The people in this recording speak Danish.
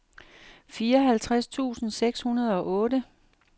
fireoghalvtreds tusind seks hundrede og otte